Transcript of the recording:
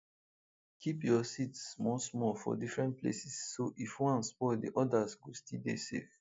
keep your seeds small small for different places so if one spoil the others go still dey safe